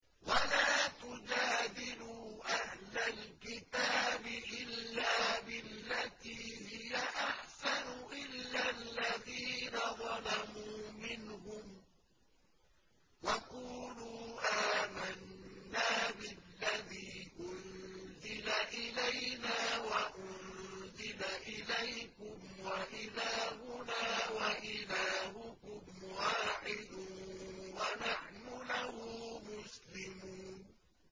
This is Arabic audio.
۞ وَلَا تُجَادِلُوا أَهْلَ الْكِتَابِ إِلَّا بِالَّتِي هِيَ أَحْسَنُ إِلَّا الَّذِينَ ظَلَمُوا مِنْهُمْ ۖ وَقُولُوا آمَنَّا بِالَّذِي أُنزِلَ إِلَيْنَا وَأُنزِلَ إِلَيْكُمْ وَإِلَٰهُنَا وَإِلَٰهُكُمْ وَاحِدٌ وَنَحْنُ لَهُ مُسْلِمُونَ